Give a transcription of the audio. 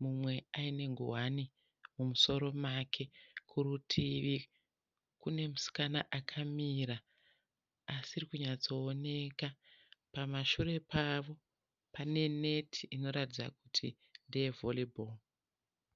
mumwe aine nguwani mumusoro make. Kurutivi kunemusikana akamira asiri kunyatsooneka. Pamashure pavo pane neti inoratidza kuti ndeye valley ball.